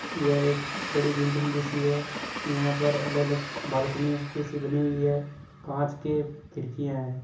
यह एक बड़ी बिल्डिंग जैसी है यहाँ पर अलग अलग बालकनी जैसी बनी हुई है काच के खिडकिया है।